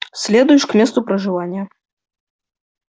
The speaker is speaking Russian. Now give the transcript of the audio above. следуешь к месту проживания